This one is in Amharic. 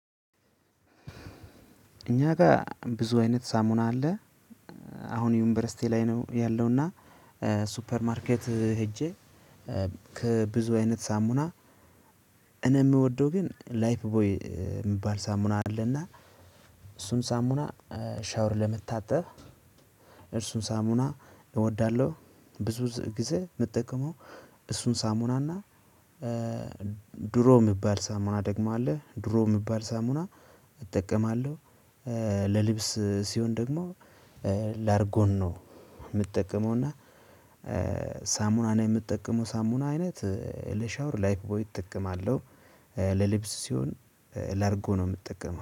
እኛ ጋር ብዙ አይነት ሳሙና አለ። አሁን ዩኒቨርሲቲ ላይ ነው ያለውና። ሱፐር ማርኬት ሄጄ። ከብዙ አይነት ሳሙና። እኔ የምወደው ግን ላይፍ ቦይ የሚባል ሳሙና አለና። እሱም ሳሙና ሻወር ለመታጠብ እርሱን ሳሙና እወዳለሁ። ብዙ ጊዜ ምጠቀመው እሱን ሳሙናና። ድሮ የሚባል ሳሙና ደግሞ አለ ድሮ የሚባል ሳሙና እጠቀማለሁ። ለልብስ ሲሆን ደግሞ ላርጎን ነው። የምጠቀመው እና ሳሙናና የምጠቀመው ሳሙና አይነት ለሻወር ላይፍ ቦይ እጠቀማለሁ። ለልብስ ሲሆን ላርጎ ነው የምጠቀመው